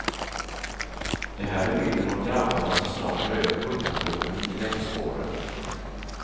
Det här är bilden av grabbarna som snart tar över kungatronen i längdspåren.